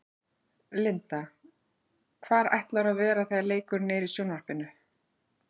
Linda: Hvar ætlarðu að vera þegar leikurinn er í sjónvarpinu?